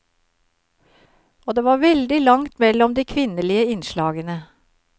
Og det var veldig langt mellom de kvinnelige innslagene.